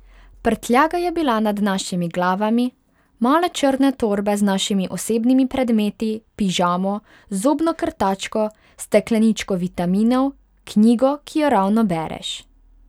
Prtljaga je bila nad našimi glavami, male črne torbe z našimi osebnimi predmeti, pižamo, zobno krtačko, stekleničko vitaminov, knjigo, ki jo ravno bereš.